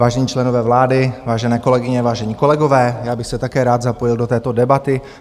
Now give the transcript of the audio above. Vážení členové vlády, vážené kolegyně, vážení kolegové, já bych se také rád zapojil do této debaty.